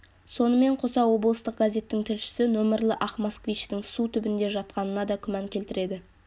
сонымен қоса облыстық газеттің тілшісі нөмірлі ақ москвичтің су түбінде жатқанына да күмән келтіреді